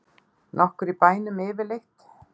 Nokkur í bænum yfirleitt?